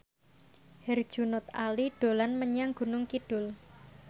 Herjunot Ali dolan menyang Gunung Kidul